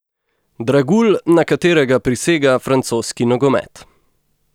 Dragulj, na katerega prisega francoski nogomet.